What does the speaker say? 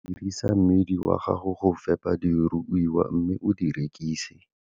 Dirisa mmidi wa gago go fepa diruiwa mme o di rekise.